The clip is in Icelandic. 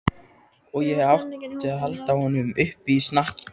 Og ég átti að halda honum uppi á snakki!